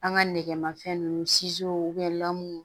An ka nɛgɛmafɛn nunnu lamu